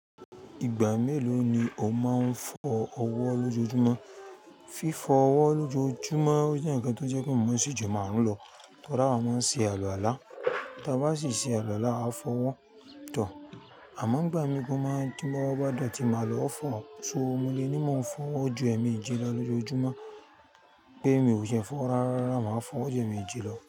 Ìgbà mélòó ni o máa ń fọ ọwọ́ lójoojúmọ́? Fífọ ọwọ́ lójoojúmọ́ ó jẹ́ ǹkan tó jẹ́ pé mò máa ń ṣe ju ẹ̀marùn lọ. Torí àwa máa ń ṣe àlwàlá, tí a bá sì ṣe àlwàlá a fọwọ́ tó àmọ́ ìgbà mí ko máa ń tí mo bá dọ̀tí máa lò ó fọ, so mo lè ní mò ń fọ ọwọ́ ju ẹ́ẹ̀mèje lọ lójoojúmọ́, pé mi ò ṣe é fọ rárá, máa fọwọ́ ju ẹ́ẹ̀mèje lọ.